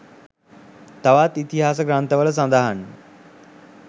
තවත් ඉතිහාස ග්‍රන්ථවල සඳහන්ය.